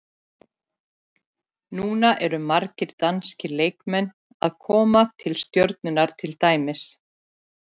Núna eru margir danskir leikmenn að koma til Stjörnunnar til dæmis.